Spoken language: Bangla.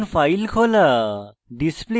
একটি বিদ্যমান file খোলা